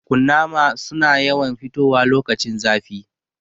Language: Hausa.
Kunnama su na yawan fitowa lokacin zafi